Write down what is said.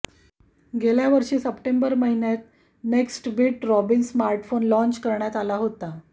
गेल्यावर्षी सप्टेंबर महिन्यात Nextbit Robin smartphone launch करण्यात आला होता